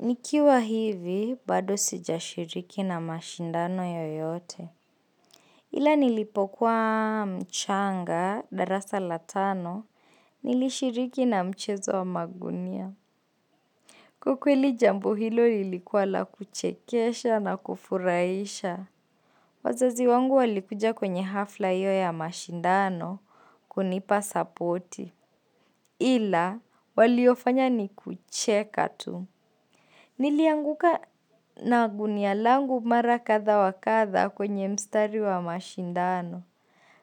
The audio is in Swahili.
Nikiwa hivi bado sijashiriki na mashindano yoyote. Ila nilipokuwa mchanga darasa la tano nilishiriki na mchezo wa magunia Kwa kweli jambo hilo lilikuwa la kuchekesha na kufurahisha. Wazazi wangu walikuja kwenye hafla hiyo ya mashindano kunipa sapoti Ila waliyofanya ni kucheka tu. Nilianguka na gunia langu mara kadha wa kadha kwenye mstari wa mashindano.